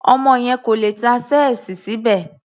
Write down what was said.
Ọmọ yẹn kò lè tá ṣẹ́ẹ̀sì síbẹ̀.